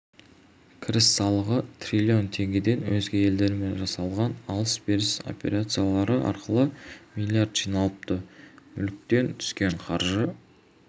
кіріс салығы трилион теңгеден өзге елдермен жасалған алыс-беріс операциялары арқылы млрд жиналыпты мүліктен түскен қаржы